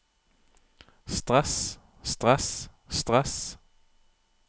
stress stress stress